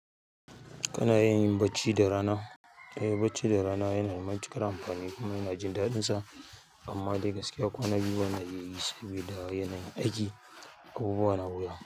Kana iya yin bacci da rana. Eh, bacci da rana yana da matuƙar amfani kuma ina jin daɗin sa, amma dai gaskiya kwana biyu bana iya yi saboda yanayin aiki. Abubuwa na wuya.